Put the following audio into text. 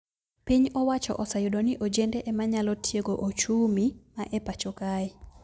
Piny owacho oseyudo ni ojende emanyalo tiego ochumi ma e pacho kae